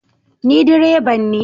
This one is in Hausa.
Ni direban ne